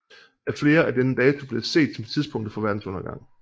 Af flere er denne dato blevet set som tidspunktet for verdens undergang